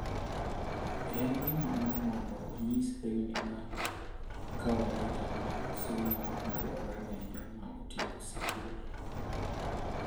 En gima duong' mondo onyis lewni ma kawaida mag somo madwarore ne joma otieko sikul.